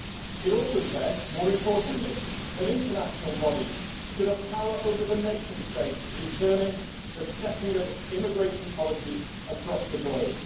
It also says, more importantly, that international bodies should have power over the nation states to determine the setting of immigration policies across the globe.